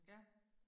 Ja